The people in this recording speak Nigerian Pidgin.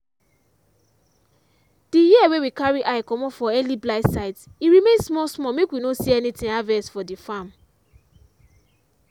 the year wey we carry eye comot for early blight sign e remain small small make we no see anything harvest for the farm.